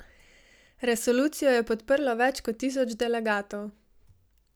Resolucijo je podprlo več kot tisoč delegatov.